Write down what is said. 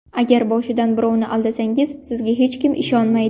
Agar boshidan birovni aldasangiz, sizga hech kim ishonmaydi.